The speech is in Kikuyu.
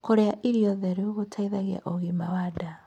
Kurĩa irio theru gũteithagia ũgima wa ndaa